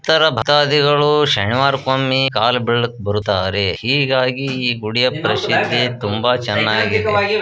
ತರ ಭಕ್ತಾದಿಗಳು ಶನಿವಾರಕ್ಕೊಮ್ಮೆ ಕಾಲು ಬೀಳೋಕೆ ಬರುತ್ತಾರೆ ಹೀಗಾಗಿ ಈ ಗುಡಿಯ ಪ್ರಸಿದ್ಧಿ ತುಂಬಾ ಚೆನ್ನಾಗಿದೆ.